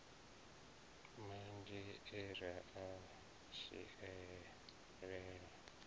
manzhi e ra a dzhielela